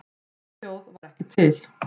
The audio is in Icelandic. Slík þjóð var ekki til.